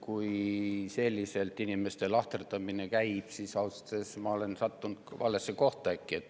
Kui selliselt inimeste lahterdamine käib, siis ausalt öeldes ma olen äkki sattunud valesse kohta.